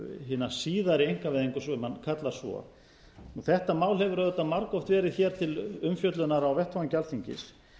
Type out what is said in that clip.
hina síðari einkavæðingu sem hann kallar svo þetta mál hefur auðvitað margoft verið hér til umfjöllunar á vettvangi alþingis